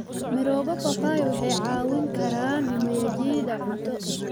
Mirooga papai waxay caawin karaan mumenyajiida cunto.